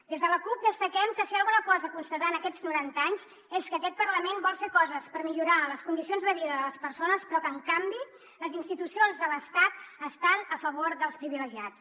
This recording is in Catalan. des de la cup destaquem que si hi ha alguna cosa a constatar en aquests noranta anys és que aquest parlament vol fer coses per millorar les condicions de vida de les persones però que en canvi les institucions de l’estat estan a favor dels privilegiats